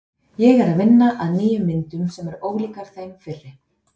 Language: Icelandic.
Ég er að vinna að nýjum myndum sem eru ólíkar þeim fyrri.